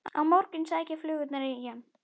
Á morgun sækja flugurnar í hann.